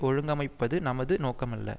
ஒழுங்கமைப்பது நமது நோக்கமல்ல